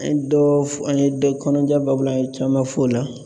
An ye dɔ fɔ an ye dɔ kɔnɔja baabu la an ye caman f'o la.